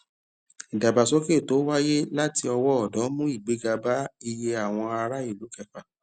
ìdàgbàsókè yóò wáyé láti ọwó òdó mú igbéga bá iye àwọn ará ìlú kẹfà